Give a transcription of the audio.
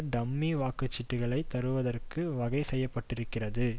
dummy வாக்கு சீட்டுக்களை தருவதற்கு வகை செய்ய பட்டிருக்கிறது